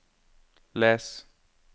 les